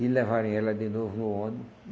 E levarem ela de novo no ônibus.